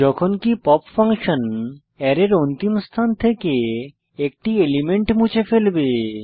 যখনকি pop function অ্যারের অন্তিম স্থান থেকে একটি এলিমেন্ট মুছে ফেলবে